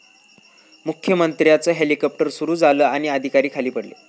मुख्यमंत्र्यांचं हेलिकाॅप्टर सुरू झालं आणि अधिकारी खाली पडले